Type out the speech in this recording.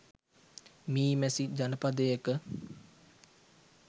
මී මැසි ජනපදයක